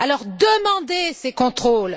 Alors demandez ces contrôles.